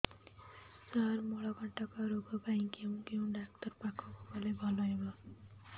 ସାର ମଳକଣ୍ଟକ ରୋଗ ପାଇଁ କେଉଁ ଡକ୍ଟର ପାଖକୁ ଗଲେ ଭଲ ହେବ